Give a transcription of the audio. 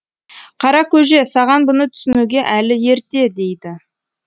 қара көже саған бұны түсінуге әлі ерте дейді